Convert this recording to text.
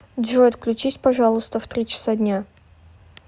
джой отключись пожалуйста в три часа дня